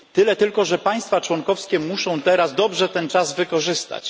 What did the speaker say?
Tyle tylko, że państwa członkowskie muszą teraz dobrze ten czas wykorzystać.